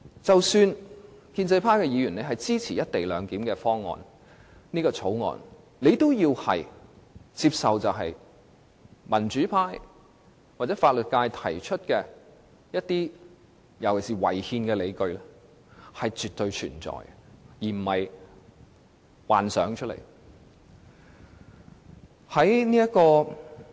即使建制派議員支持《條例草案》，也應接受民主派或法律界提出的一些尤其是違憲的理據是確實存在，並非憑空想象。